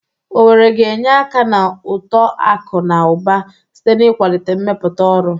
Owerri ga-enye aka na uto akụ na ụba site n'ịkwalite mmepụta ọrụ.